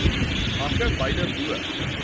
hake beide bo